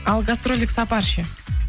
ал гастрольдік сапар ше